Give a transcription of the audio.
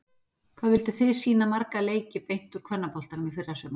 Hvað vilduð þið sýna marga leiki beint úr kvennaboltanum í fyrrasumar?